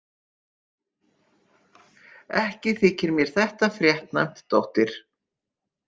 Ekki þykir mér þetta fréttnæmt, dóttir.